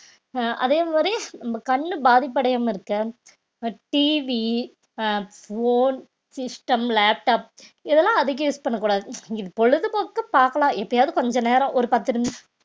அஹ் அதே மாதிரி நம்ம கண்ணு பாதிப்படையாம இருக்க அஹ் TV அ phone, system, laptop இதெல்லாம் அதிகம் use பண்ணக் கூடாது பொழுதுபோக்கு பார்க்கலாம் எப்பயாவது கொஞ்ச நேரம் ஒரு பத்து நிமிஷ்~